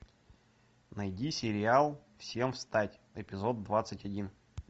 найди сериал всем встать эпизод двадцать один